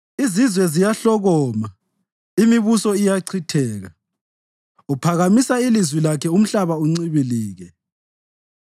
Izizwe ziyahlokoma, imibuso iyachitheka; uphakamisa ilizwi lakhe umhlaba uncibilike.